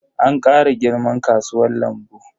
An kara girman kasuwan lambu.